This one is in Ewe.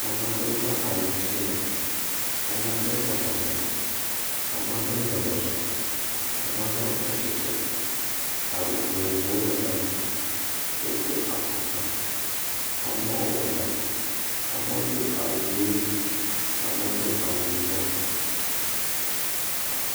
Amaɖowo va awu sime, amaɖe bɔbɔ nanyi, amaɖɔwo le zɔzɔ, amaɖɔwo tsatsitre, awu vovovowo le gama, wo do afɔkpa, amowo wɔ ɖa, amowo do awu ɣee, amowo do awu yibɔ.